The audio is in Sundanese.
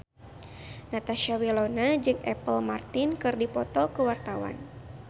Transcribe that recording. Natasha Wilona jeung Apple Martin keur dipoto ku wartawan